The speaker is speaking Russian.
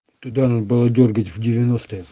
туда надо было дёргать в девяностые